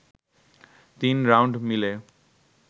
তিন রাউন্ড মিলে